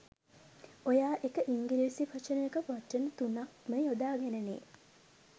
ඔයා එක ඉංගිරිසි වචනයකට වචන තුනක් ම යොදා ගෙනනේ